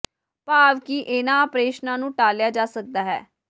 ਭਾਵ ਕਿ ਇਨ੍ਹਾਂ ਆਪਰੇਸ਼ਨਾਂ ਨੂੰ ਟਾਲਿਆ ਜਾ ਸਕਦਾ ਹੈ